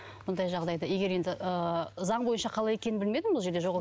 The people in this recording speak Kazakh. мұндай жағдайда егер енді ы заң бойынша қалай екенін білмедім бұл жерде